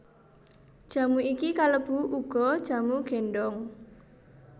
Jamu iki kalebu uga jamu gendong